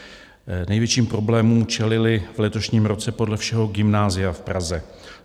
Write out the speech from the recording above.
Největším problémům čelila v letošním roce podle všeho gymnázia v Praze.